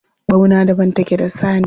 Ɓauna daban take da saniya